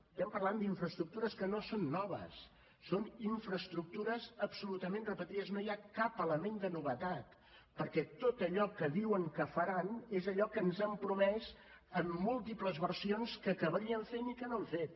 estem parlant d’infraestructures que no són noves són infraestructures absolutament repetides no hi ha cap element de novetat perquè tot allò que diuen que faran és allò que ens han promès en múltiples versions que acabarien fent i que no han fet